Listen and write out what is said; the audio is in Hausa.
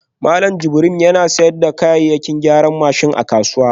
Malam Jibril yana sayar da kayayyakin gyaran babur a kasuwa